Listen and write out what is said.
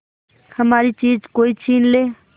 हमारी चीज कोई छीन ले